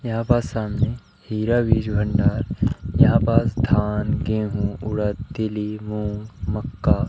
यहां पास सामने हीरा वीज भंडार यहां पास धान गेंहू उडद तीली मूंग मक्का--